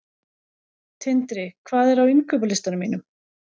Tindri, hvað er á innkaupalistanum mínum?